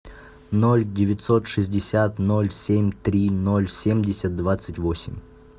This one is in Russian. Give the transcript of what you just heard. ноль девятьсот шестьдесят ноль семь три ноль семьдесят двадцать восемь